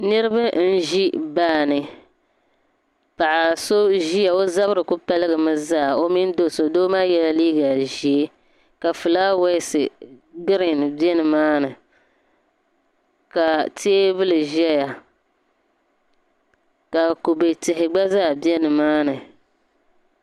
Niriba n-ʒi baa ni. Paɣa so n-ʒia o zabiri ku paligimi zaa o mini do' so doo maa yɛla liiga ʒee ka fulaawaasi girin be nimaani ka teebuli zaya ka kube tihi gba zaa be nimaani.